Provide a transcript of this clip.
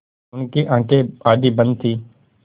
उनकी आँखें आधी बंद थीं